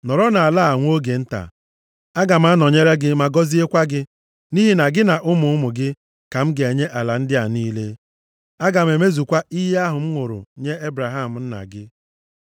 Nọrọ nʼala a nwa oge nta, aga m anọnyere gị ma gọziekwa gị, nʼihi na gị na ụmụ ụmụ gị ka m ga-enye ala ndị a niile. Aga m emezukwa iyi ahụ m ṅụrụ nye Ebraham nna gị.